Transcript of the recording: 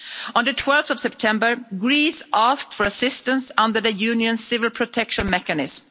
On 12 September, Greece asked for assistance under the Union Civil Protection Mechanism.